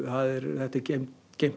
þetta er geymt geymt á